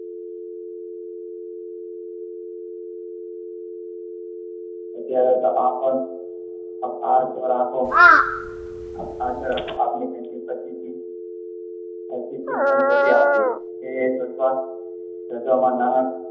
ત્યારે તો આ પણ તે શોધવામાં